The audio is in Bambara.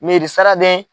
Mersade